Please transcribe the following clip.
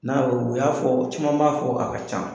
N'a y'o u y'a fɔ, caman b'a fɔ a ka can.